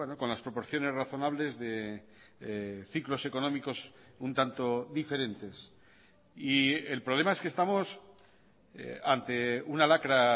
con las proporciones razonables de ciclos económicos un tanto diferentes y el problema es que estamos ante una lacra